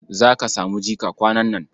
Za ka samu jika kwanan nan.